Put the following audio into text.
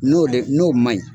N'o le n'o man ɲi